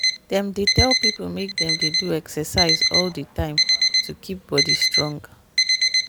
dem dey tell people make dem dey do exercise all the time to keep body strong.